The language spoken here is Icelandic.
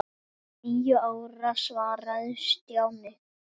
Níu ára svaraði Stjáni.